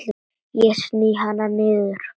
Ég sný hana niður.